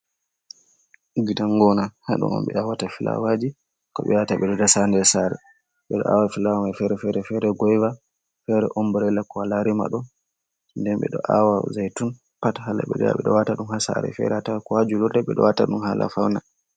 Gidan gona ha do on ɓe awata filawaji ko ɓe yata ɓeɗo dasa ha nder sare, ɓeɗo awa filawa mai fere fere, fere goyva, fere ombrela, ko wala rimado nden ɓeɗo awa zaitun pat ha la ɓeɗo wata ɗum ha sare fere ko ha julurde ɓeɗo wata ɗum hala faune.